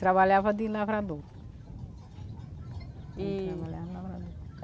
Trabalhava de lavrador. E trabalhava de lavador